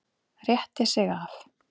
Rétti sig af.